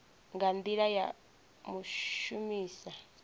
nga ndila ya u shumisa